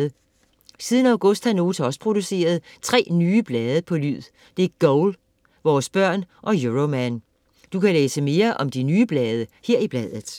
Siden august har Nota også produceret tre nye blade på lyd. Det er Goal, Vores Børn og Euroman. Du kan læse mere om de nye blade her i bladet.